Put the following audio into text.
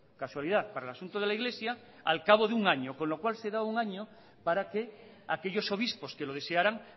casualidad para el asunto de la iglesia al cabo de un año con lo cual se da un año para que aquellos obispos que lo desearan